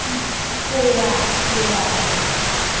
ho ya ho ya ho